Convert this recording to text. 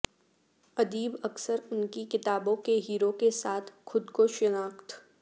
ادیب اکثر ان کی کتابوں کے ہیرو کے ساتھ خود کو شناخت